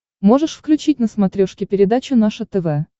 можешь включить на смотрешке передачу наше тв